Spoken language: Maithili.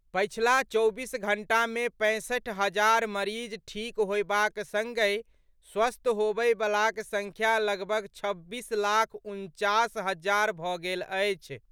पछिला चौबीस घंटा मे पैंसठि हजार मरीज ठीक होयबाक संगहि स्वस्थ होबयबलाक संख्या लगभग छब्बीस लाख उनचास हजार भऽ गेल अछि।